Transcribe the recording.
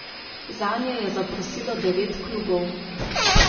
Zanje je zaprosilo devet klubov.